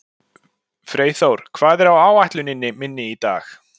Freyþór, hvað er á áætluninni minni í dag?